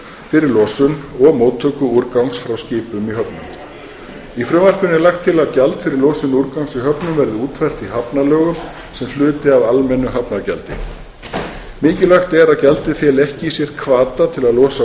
fyrir losun og móttöku úrgangs frá skipum í höfnum í frumvarpinu er lagt til að gjald fyrir losun úrgangs í höfnum verði útfært í hafnalögum sem hluti af almennu hafnargjaldi mikilvægt er að gjaldið feli ekki í sér hvata til að losa